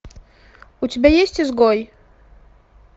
у тебя есть изгой